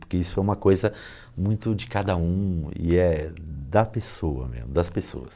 Porque isso é uma coisa muito de cada um e é da pessoa mesmo, das pessoas.